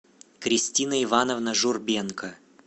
кристина ивановна журбенко